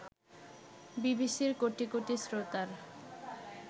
বিবিসির কোটি কোটি শ্রোতার